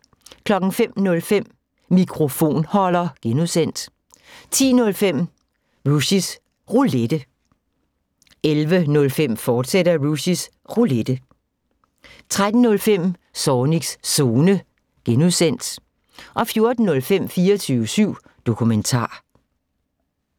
05:05: Mikrofonholder (G) 10:05: Rushys Roulette 11:05: Rushys Roulette, fortsat 13:05: Zornigs Zone (G) 14:05: 24syv Dokumentar